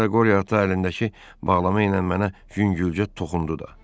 Hətta qoriya ata əlindəki bağlama ilə mənə yüngülcə toxundu da.